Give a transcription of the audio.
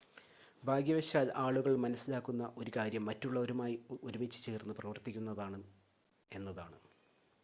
ഭാഗ്യവശാൽ ആളുകൾ മനസ്സിലാക്കുന്ന ഒരു കാര്യം മറ്റുള്ളവരുമായി ഒരുമിച്ചുചേർന്ന് പ്രവർത്തിക്കുന്നതാണ് എന്നതാണ്